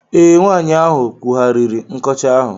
Ee, nwaanyị ahụ kwụghariri nkọcha ahụ.